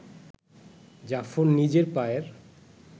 জাফর নিজের পায়ের